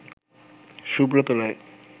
Subrata Roy